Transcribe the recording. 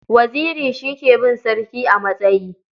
Waziri shi ke bin sarki a matsayi.